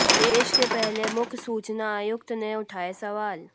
देश के पहले मुख्य सूचना आयुक्त ने उठाए सवाल